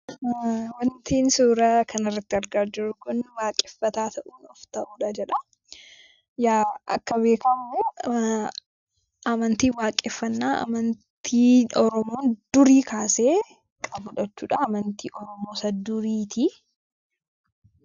Waanti suura kana irratti argaa jirru Kun, waaqeffataa ta'uun of ta'uudha jedha. Akka beekamu amantiin waaqeffannaa amantii Oromoon durii kaasee qabudha jechuudha. Amantii Oromoo isa duriiti.